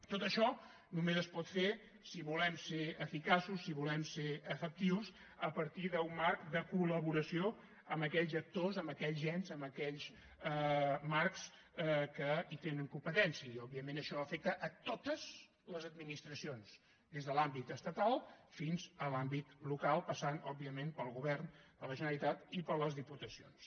tot això només es pot fer si volem ser eficaços si volem ser efectius a partir d’un marc de col·laboració amb aquells actors amb aquells ens amb aquells marcs que hi tenen competència i òbviament això afecta totes les administracions des de l’àmbit estatal fins a l’àmbit local passant òbviament pel govern de la generalitat i per les diputacions